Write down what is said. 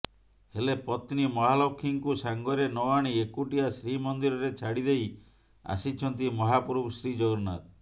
ହେଲେ ପତ୍ନୀ ମହାଲକ୍ଷ୍ମୀଙ୍କୁ ସାଙ୍ଗରେ ନଆଣି ଏକୁଟିଆ ଶ୍ରୀମନ୍ଦିରରେ ଛାଡିଦେଇ ଆସିଛନ୍ତି ମହାପ୍ରଭୁ ଶ୍ରୀ ଜଗନ୍ନାଥ